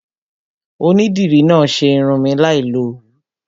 Onídìrí náà ṣe irun mi láì lo Òwú.